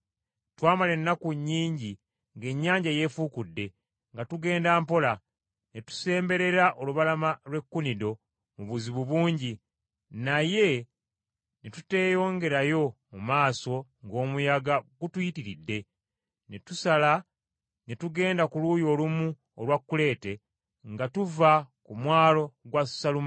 Twamala ennaku nnyingi ng’ennyanja yeefuukudde, nga tugenda mpola, ne tusemberera olubalama lw’e Kunido mu buzibu bungi naye ne tuteeyongerayo mu maaso ng’omuyaga gutuyitiridde, ne tusala ne tugenda ku luuyi olumu olwa Kuleete nga tuva ku mwalo gwa Salumone.